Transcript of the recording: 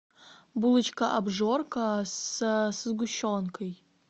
булочка обжорка со сгущенкой